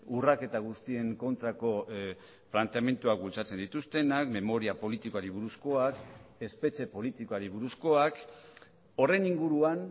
urraketa guztien kontrako planteamenduak bultzatzen dituztenak memoria politikoari buruzkoak espetxe politikoari buruzkoak horren inguruan